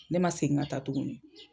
Ne man segin ka taa tuguni.